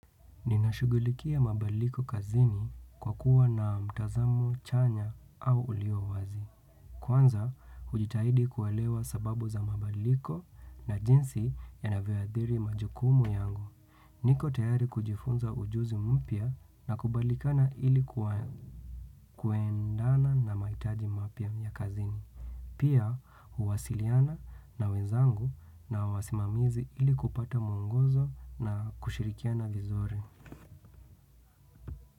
Ninashugulikia mabadaliko kazini kwa kuwa na mtazamo, chanya au ulio wazi. Kwanza, hujitahidi kuelewa sababu za mabaliko na jinsi yanavyao athiri majukumu yangu. Niko tayari kujifunza ujuzi mpya na kubalikana ilikuwa kuendana na mahitaji mapya ya kazini. Pia, huwasiliana na wezangu na wasimamizi ili kupata mwongozo na kushirikiana vizuri.